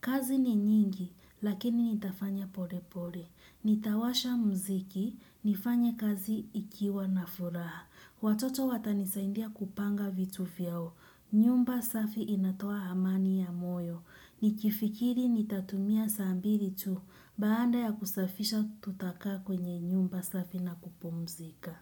Kazi ni nyingi, lakini nitafanya pole pole. Nitawasha muziki nifanye kazi nikiwa na furaha. Watoto watanisaidia kupanga vitu vyao. Nyumba safi inatoa amani ya moyo. Nikifikiri nitatumia saa mbili tu. Baada ya kusafisha tutakaa kwenye nyumba safi na kupumzika.